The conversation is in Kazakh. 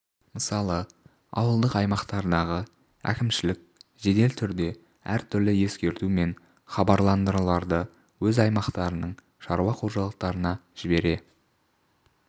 мысалы ауылдық аймақтардағы әкімшілік жедел түрде әр түрлі ескерту мен хабарландыруларды өз аймақтарының шаруа қожалықтарына жібере